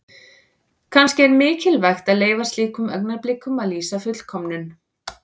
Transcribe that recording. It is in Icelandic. Kannski er mikilvægt að leyfa slíkum augnablikum að lýsa fullkomnun.